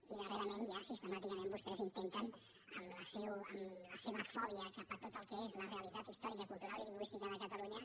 i darrerament ja sistemàticament vostès intenten amb la seva fòbia cap a tot el que és la realitat històrica cultural i lingüística de catalunya